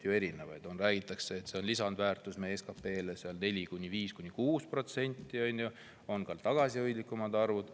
Räägitakse, et see on lisandväärtus 4–6% võrra SKP‑st, kuid on ka tagasihoidlikumad arvud.